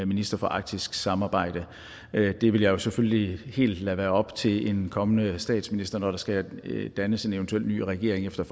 minister for arktisk samarbejde det vil jeg jo selvfølgelig lade være helt op til en kommende statsminister når der skal dannes en eventuel ny regering efter